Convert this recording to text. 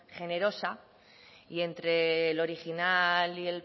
generosa y entre el original y